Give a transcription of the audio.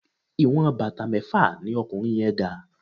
Ìwọ̀n bàtà mẹ́fà ní ọkùnrin yẹ́n ga.